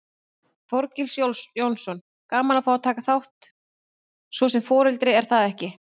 Þorgils Jónsson: Gaman að fá að taka þátt svo sem foreldri, er það ekki?